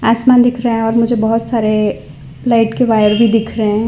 आसमान दिख रहा है और मुझे बहोत सारे लाइट के वायर भीं दिख रहें हैं।